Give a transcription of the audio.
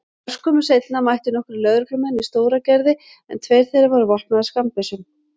Örskömmu seinna mættu nokkrir lögreglumenn í Stóragerði en tveir þeirra voru vopnaðir skammbyssum.